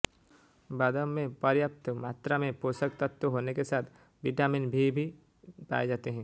बादाम में पर्याप्त मात्रा में पोषक तत्व होने के साथ विटामिन भी पाये जाते हैं